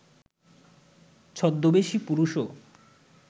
ছদ্মবেশী পুরুষও